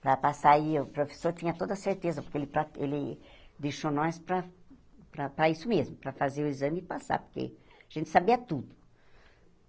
Para passar aí, o professor tinha toda a certeza, porque ele pra ele deixou nós para para isso mesmo, para fazer o exame e passar, porque a gente sabia tudo.